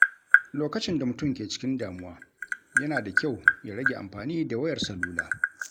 Lokacin da mutum ke cikin damuwa, yana da kyau ya rage amfani da wayar salula.